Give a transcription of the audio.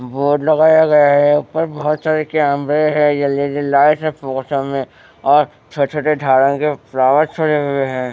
Board लगाया गया है ऊपर बहुत सारे कैमरे हैं जल्दी लाइट है फसों में और छोटे-छोटे झाड़ा के फ्लॉवर छोड़े हुए हैं।